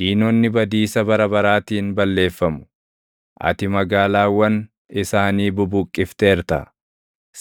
Diinonni badiisa bara baraatiin balleeffamu; ati magaalaawwan isaanii bubuqqifteerta;